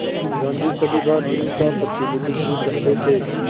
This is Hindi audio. गांधी सभी भारतीयों का प्रतिनिधित्व करते थे